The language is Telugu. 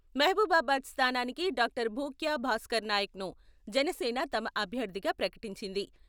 మహబూబాబాద్ స్థానానికి డాక్టర్ భూక్యా భాస్కర్నాయకన్ను జనసేన తమ అభ్యర్థిగా ప్రకటించింది.